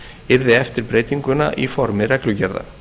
yrði eftir breytinguna í formi reglugerða